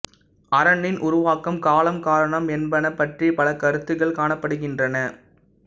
அரணின் உருவாக்கம் காலம் காரணம் என்பன பற்றி பல கருத்துக்கள் காணப்படுகின்றன